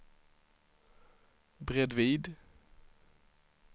bredvid